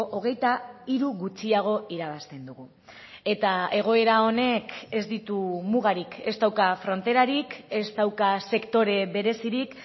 hogeita hiru gutxiago irabazten dugu eta egoera honek ez ditu mugarik ez dauka fronterarik ez dauka sektore berezirik